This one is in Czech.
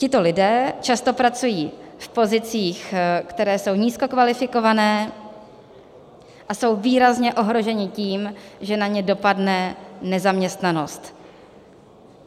Tito lidé často pracují v pozicích, které jsou nízkokvalifikované, a jsou výrazně ohroženi tím, že na ně dopadne nezaměstnanost.